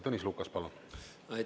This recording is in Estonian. Tõnis Lukas, palun!